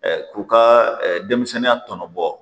k'u ka denmisɛnninya tɔnɔ bɔ